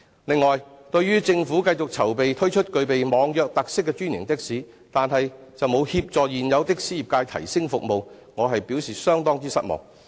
此外，對於政府繼續籌備推出具備網約特色的專營的士，但卻沒有協助現有的士業界提升服務，我表示相當失望。